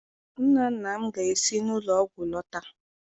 Nna nna m ga-esi n'ụlọ ọgwụ lọta.